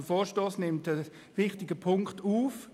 Der Vorstoss nimmt einen wichtigen Punkt auf.